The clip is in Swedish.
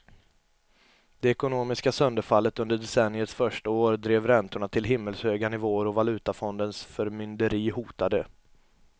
Det ekonomiska sönderfallet under decenniets första år drev räntorna till himmelshöga nivåer och valutafondens förmynderi hotade.